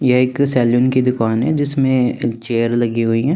ये एक सलून‌ की दुकान है जिसमें चेयर लगी हुई है।